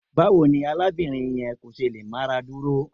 Báwo ni arábìnrin yẹn kò ṣe lè máradúró?